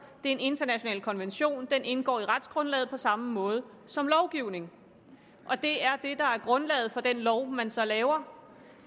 er en international konvention og den indgår i retsgrundlaget på samme måde som lovgivning det er det der er grundlaget for den lov man så laver